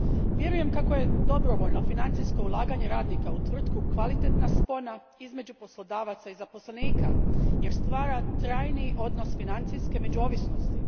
Vjerujem kako je dobrovoljno financijsko ulaganje radnika u tvrtku kvalitetna spona između poslodavaca i zaposlenika, jer stvara trajni odnos financijske međuovisnosti.